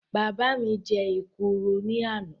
Bàbá mi jẹ èkuru ní àná